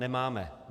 Nemáme.